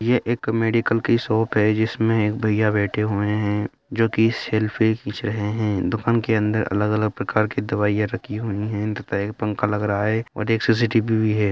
यह एक मेडिकल की शॉप है जिसमें एक भइया बैठे हुए हैं जो की सेल्फी खींच रहे हैं दुकान के अंदर अलग-अलग प्रकार की दवाइयाँ रखी हुई हैं तथा एक पंखा लग रहा है और एक सी.सी.टी.वी.बी. भी है।